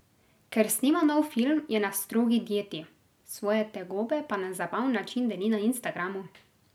Ker snema nov film, je na strogi dieti, svoje tegobe pa na zabaven način deli na Instagramu.